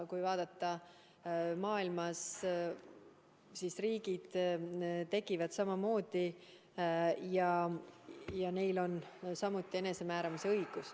Kui vaadata kogu maailma, siis riigid tekivad samamoodi ja neil rahvastel on samuti enesemääramisõigus.